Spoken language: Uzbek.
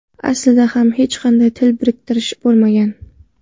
Aslida ham hech qanday til biriktirish bo‘lmagan.